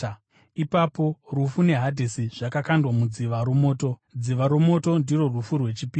Ipapo rufu neHadhesi zvakakandwa mudziva romoto. Dziva romoto ndirwo rufu rwechipiri.